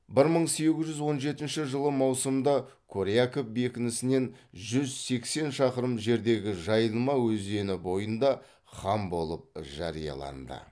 бір мың сегіз жүз он жетінші жылы маусымда коряков бекінісінен жүз сексен шақырым жердегі жайылма өзені бойында хан болып жарияланды